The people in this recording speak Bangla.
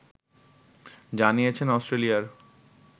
জানিয়েছেন অস্ট্রেলিয়ার